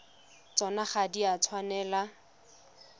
tsona ga di a tshwanela